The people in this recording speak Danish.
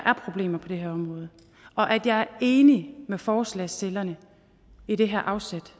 er problemer på det her område og at jeg er enig med forslagsstillerne i det her afsæt